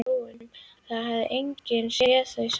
Það hefur enginn séð þau saman.